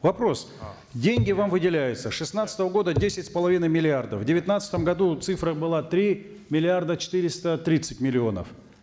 вопрос деньги вам выделяются с шестнадцатого года десять с половиной миллиардов в девятнадцатом году цифра была три миллиарда четыреста тридцать миллионов